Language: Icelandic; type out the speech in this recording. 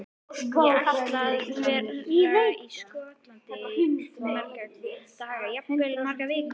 Ég ætla að vera í Skotlandi í marga daga, jafnvel í margar vikur.